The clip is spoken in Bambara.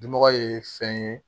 Dunɔgɔ ye fɛn ye